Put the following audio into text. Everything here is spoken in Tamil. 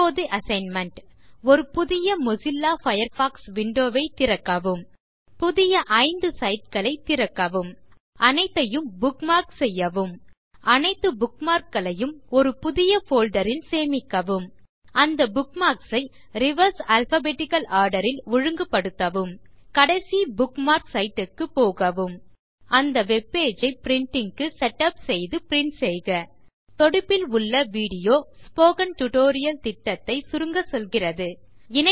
இப்போது அசைன்மென்ட் ஒரு புதிய மொசில்லா பயர்ஃபாக்ஸ் விண்டோ ஐத் திறக்கவும் புதிய ஐந்து சைட் களைத் திறக்கவும் அனைத்தையும் புக்மார்க் செய்யவும் அனைத்து புக்மார்க் களையும் ஒரு புதிய போல்டர் ல் சேமிக்கவும் அந்த புக்மார்க்ஸ் ஐ ரிவர்ஸ் அல்பாபெட்டிக்கல் ஆர்டர் ல் ஒழுங்குப்படுத்தவும் கடைசி புக்மார்க் சைட் க்குப்போகவும் அந்த வெப் பேஜ் ஐ பிரின்டிங் க்கு செட்டப் செய்து பிரின்ட் செய்க தொடுப்பில் உள்ள விடியோ ஸ்போக்கன் டியூட்டோரியல் திட்டத்தை சுருங்கச்சொல்கிறது